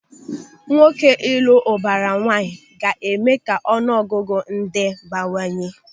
Nwoke ịlụ ụbara nwaanyị ga-eme ka ọnụ ọgụgụ ndị bawanye.